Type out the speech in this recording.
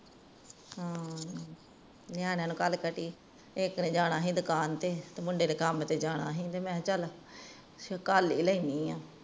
ਹੂ ਨਿਆਣਿਆਂ ਨੂੰ ਘਲ ਕੇ ਹਟੀ ਏਕ ਨੇ ਜਾਣਾ ਸੀ ਦੁਕਾਨ ਤੇ ਤੇ ਮੁੰਡੇ ਨੇ ਕੰਮ ਤੇ ਜਾਣਾ ਸੀ ਤੇ ਮੈਂ ਚਲ ਕੱਲ ਹੀ ਲੈਨੀ ਹਾਂ